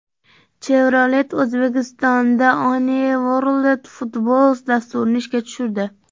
Chevrolet O‘zbekistonda One World Futbols dasturini ishga tushirdi.